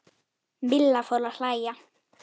Milla fór að hlæja.